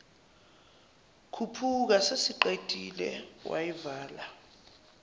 khuphuka sesiqedile wayivala